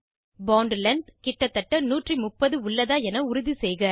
bond length கிட்ட தட்ட 130 உள்ளதா என உறுதிசெய்க